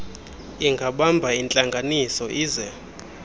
ingabamba intlanganiso ize